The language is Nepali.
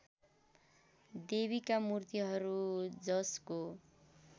देवीका मुर्तिहरू जसको